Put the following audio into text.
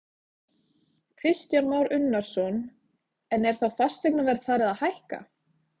Kristján Már Unnarsson: En er þá fasteignaverð farið að hækka?